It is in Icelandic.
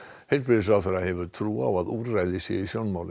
heilbrigðisráðherra hefur trú á að úrræði sé í sjónmáli